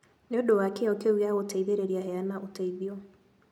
Nĩ ũndũ wa kĩyo kĩu gĩa gũteithĩrĩria, heana ũteithio.